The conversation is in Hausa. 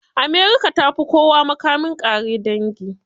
America ta fi kowa makamin ƙare dangi.